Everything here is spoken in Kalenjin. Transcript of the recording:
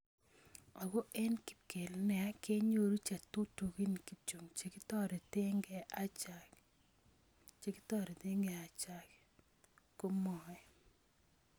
"Ako eng kipkel nea kenyoru chetutugin kityo cheketereteke achake" komwoe.